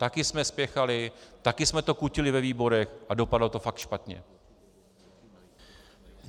Taky jsme spěchali, taky jsme to kutili ve výborech a dopadlo to pak špatně.